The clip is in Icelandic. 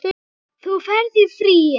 Þú ferð í friði.